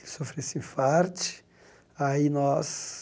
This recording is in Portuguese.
Ele sofreu esse infarte. Aí nós